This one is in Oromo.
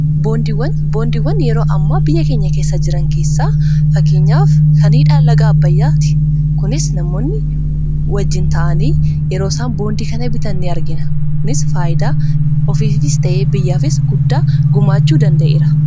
boondiiwwan yeroo amma biyya keenya keessa jiran keessaa fakkiinyaaf kaniidha laga abayyaati kunis namoonni wajjiin ta'anii yeroo isaan boondii kana bitan ni argina kunis faayidaa ofiisis ta'ee biyyaafis guddaa gumaachuu danda'eera